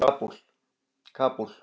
Kabúl